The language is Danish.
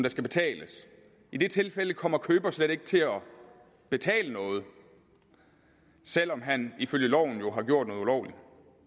skal betales i det tilfælde kommer køber slet ikke til at betale noget selv om han jo ifølge loven har gjort noget ulovligt